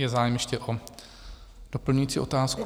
Je zájem ještě o doplňující otázku?